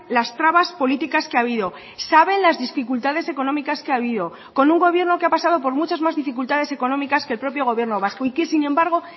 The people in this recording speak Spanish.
las trabas políticas que ha habido saben las dificultades económicas que ha habido con un gobierno que ha pasado por muchas más dificultades económicas que el propio gobierno vasco y que sin embargo